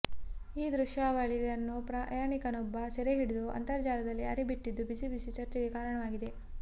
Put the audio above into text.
ಈ ದೃಶ್ಯಾವಳಿಯನ್ನು ಪ್ರಯಾಣಿಕನೊಬ್ಬ ಸೆರೆ ಹಿಡಿದು ಅಂತರ್ಜಾಲದಲ್ಲಿ ಹರಿ ಬಿಟ್ಟಿದ್ದು ಬಿಸಿ ಬಿಸಿ ಚರ್ಚೆಗೆ ಕಾರಣವಾಗಿದೆ